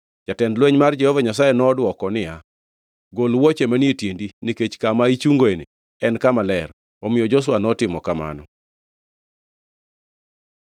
Jatend lweny mar Jehova Nyasaye nodwoko niya, “Gol wuoche manie tiendi, nikech kama ichungoeni en Kama Ler.” Omiyo Joshua notimo kamano.